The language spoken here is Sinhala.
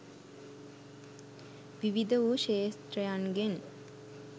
විවිධ වූ ක්‍ෂෙත්‍රයන්ගෙන්